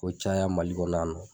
K'o caya MALI kɔnɔ yannɔ.